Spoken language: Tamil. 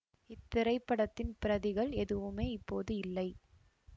இத்திரைப்படத்தின் பிரதிகள் எதுவுமே இப்போது இல்லை